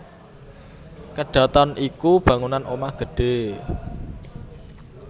Kedhaton iku bangunan omah gedhé